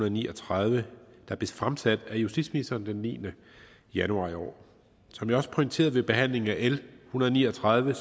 og ni og tredive der blev fremsat af justitsministeren den niende januar i år som jeg også pointerede ved behandlingen af l en hundrede og ni og tredive